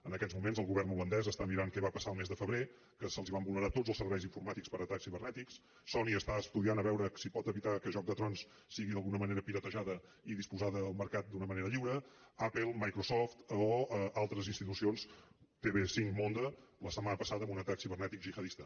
en aquests moments el govern holandès està mirant què va passar el mes de febrer que se’ls van vulnerar tots els serveis informàtics per atacs cibernètics sony està estudiant a veure si pot evitar que joc de tronsdisposada al mercat d’una manera lliure apple microsoft o altres institucions tv5 monde la setmana passada en un atac cibernètic gihadista